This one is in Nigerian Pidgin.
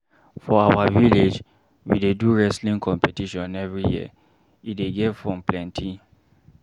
For our village, we dey do wrestling competition every year, e dey get fun plenty.